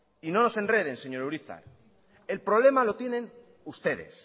y no nos enreden señor urizar el problema lo tienen ustedes